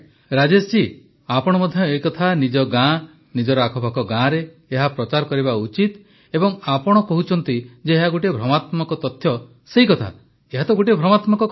ପ୍ରଧାନମନ୍ତ୍ରୀ ରାଜେଶ ଆପଣ ମଧ୍ୟ ଏ କଥା ନିଜ ଗାଁ ନିଜର ଆଖପାଖ ଗାଁରେ ଏହା ପ୍ରଚାର କରିବା ଉଚିତ ଏବଂ ଯାହା ଆପଣ କହୁଛନ୍ତି ଯେ ଏହା ଗୋଟିଏ ଭ୍ରମାତ୍ମକ ତଥ୍ୟ ସେହି କଥା ଏହା ଗୋଟିଏ ଭ୍ରମାତ୍ମକ କଥା